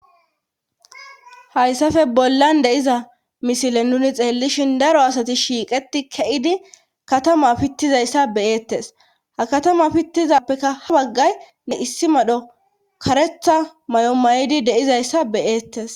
hayssafe bollan deiza misile nuni xeellishin daro asati shiiqeti ke7idi katama pittizayssa beyeettes ha katama pittizappeka ha baggay ne issi madho karetha may7o may7idi deizayssa beyeettes